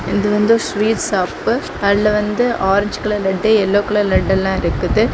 இது வந்து ஒரு ஸ்வீட் ஷாப்பு அதுல வந்து orange colour laddu yellow colour laddu எல்ல இருக்குது.